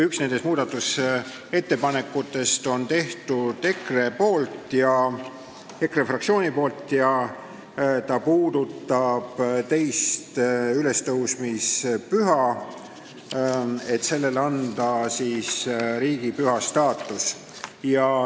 Esimese muudatusettepaneku on teinud EKRE fraktsioon ja see puudutab teist ülestõusmispüha, et sellele anda riigipüha staatus.